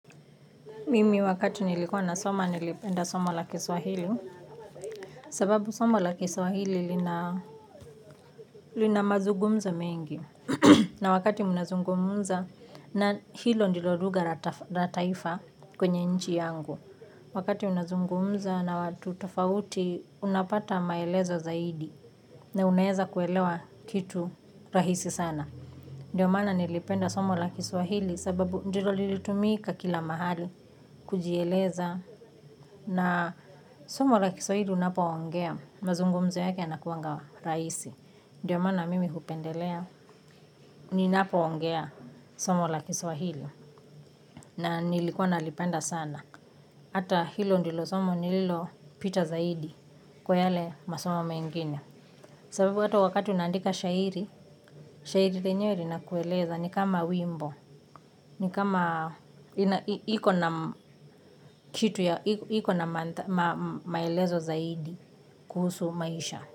Mimi wakati nilikuwa nasoma nilipenda somo la kiswahili. Sababu somo la kiswahili lina, lina mazugumzo mengi. Na wakati unazungumza na hilo ndilo lugha la taifa kwenye nchi yangu. Wakati unazungumza na watu tofauti unapata maelezo zaidi. Na unaeza kuelewa kitu rahisi sana. Ndio mana nilipenda somo la kiswahili sababu ndilo lilitumika kila mahali. Kujieleza na somo la kiswahili unapoongea, mazungumzo yake yanakuanga rahisi. Ndio maana mimi hupendelea, ninapoongea, somo la kiswahili. Na nilikuwa nalipenda sana. Hata hilo ndilo somo nililo pita zaidi. Kwa yale masomo mengine. Sababu hata wakati unaandika shairi, shairi lenyewe linakueleza ni kama wimbo. Ni kama iko na kitu ya, iko na maelezo zaidi kuhusu maisha.